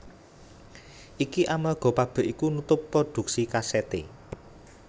Iki amarga pabrik iku nutup prodhuksi kasèté